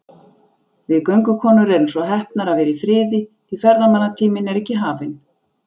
Við göngukonur erum svo heppnar að vera í friði, því ferðamannatíminn er ekki hafinn.